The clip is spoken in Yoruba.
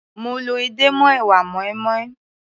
Mo lọ edé mọ́ èwà moinmoin.